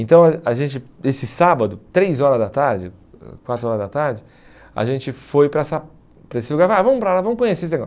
Então, a gente esse sábado, três horas da tarde, ãh quatro horas da tarde, a gente foi para essa para esse lugar e falou, ah vamos para lá, vamos conhecer esse negócio.